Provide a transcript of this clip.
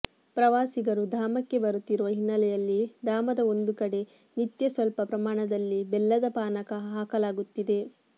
ಪ್ರವಾಸಿಗರು ಧಾಮಕ್ಕೆ ಬರುತ್ತಿರುವ ಹಿನ್ನೆಲೆಯಲ್ಲಿ ಧಾಮದ ಒಂದು ಕಡೆ ನಿತ್ಯ ಸ್ವಲ್ಪ ಪ್ರಮಾಣದಲ್ಲಿ ಬೆಲ್ಲದ ಪಾನಕ ಹಾಕಲಾಗುತ್ತಿದೆ